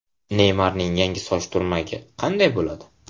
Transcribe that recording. Neymarning yangi soch turmagi qanday bo‘ladi?